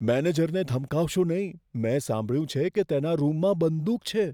મેનેજરને ધમકાવશો નહીં. મેં સાંભળ્યું કે તેના રૂમમાં બંદૂક છે.